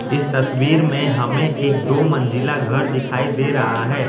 इस तस्वीर में हमें एक दो मंजिला घर दिखाई दे रहा है।